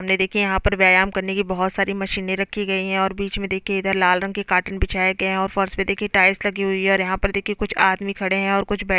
ये देखिये यहाँ पर व्यायाम करने की बहुत सारी मशीनें रखी गई है और बीच में देखिये इधर लाल रंग के कॉटन बिछाए गए है और फर्श पे देखिये टाइल्स लगी हुई है और यहाँ पर देखिये कुछ आदमी खड़े है और कुछ बैठे --